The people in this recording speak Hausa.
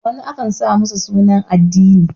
wani akan sa masa suna na addini